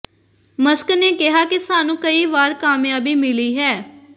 Musk ਨੇ ਕਿਹਾ ਕਿ ਸਾਨੂੰ ਕਈ ਵਾਰ ਕਾਮਯਾਬੀ ਮਿਲੀ ਹੈ